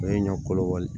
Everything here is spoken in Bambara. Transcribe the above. O ye ɲɔ kolo wali